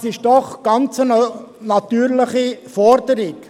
Das ist doch eine ganz natürliche Forderung.